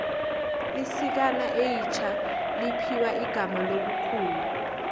isikana eitjha liphiwa igama lobukhulu